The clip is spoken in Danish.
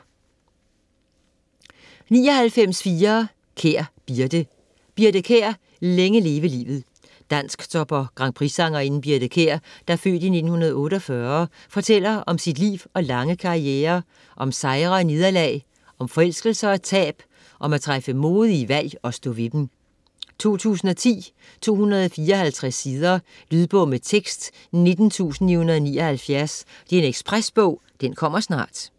99.4 Kjær, Birthe Kjær, Birthe: Længe leve livet Dansktop- og grandprixsangerinden Birthe Kjær (f. 1948) fortæller om sit liv og lange karriere - om sejre og nederlag, om forelskelser og tab, om at træffe modige valg - og stå ved dem. 2010, 254 sider. Lydbog med tekst 19979 Ekspresbog - kommer snart